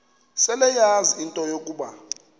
seleyazi into yokuba